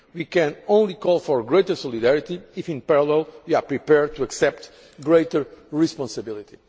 We can only call for greater solidarity if in parallel we are prepared to accept greater responsibility.